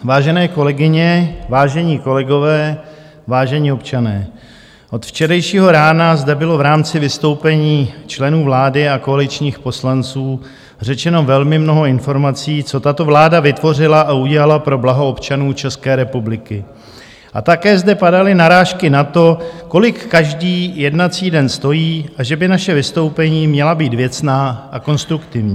Vážené kolegyně, vážení kolegové, vážení občané, od včerejšího rána zde bylo v rámci vystoupení členů vlády a koaličních poslanců řečeno velmi mnoho informací, co tato vláda vytvořila a udělala pro blaho občanů České republiky, a také zde padaly narážky na to, kolik každý jednací den stojí a že by naše vystoupení měla být věcná a konstruktivní.